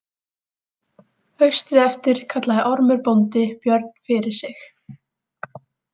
Haustið eftir kallaði Ormur bóndi Björn fyrir sig.